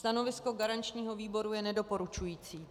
Stanovisko garančního výboru je nedoporučující.